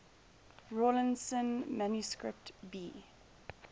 rawlinson manuscript b